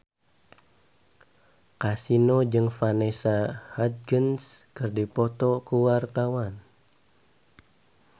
Kasino jeung Vanessa Hudgens keur dipoto ku wartawan